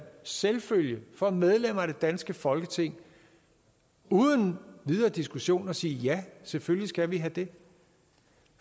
selvfølge for medlemmer af det danske folketing uden videre diskussion at sige ja selvfølgelig skal vi have det